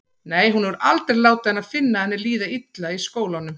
Nei, hún hefur aldrei látið hana finna að henni líði illa í skólanum.